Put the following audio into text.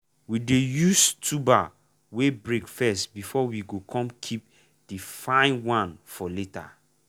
we dey use tuber wey break first before we go come keep the fine one for later.